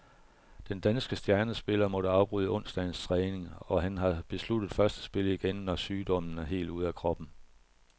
Den danske stjernespiller måtte afbryde onsdagens træning, og han har besluttet først at spille igen, når sygdommen er helt ude af kroppen.